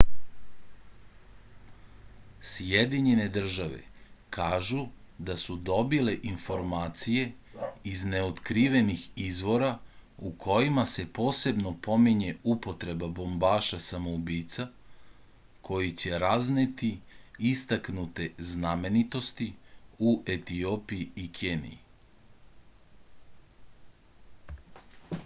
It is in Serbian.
sjedinjene države kažu da su dobile informacije iz neotkrivenih izvora u kojima se posebno pominje upotreba bombaša samoubica koji će razneti istaknute znamenitosti u etiopiji i keniji